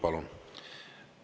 Palun!